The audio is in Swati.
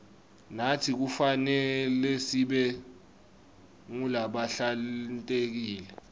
natsi kufanelesibe ngulabahlantekile